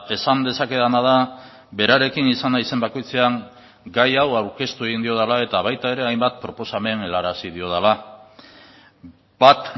esan dezakedana da berarekin izan naizen bakoitzean gai hau aurkeztu egin diodala eta baita ere hainbat proposamen helarazi diodala bat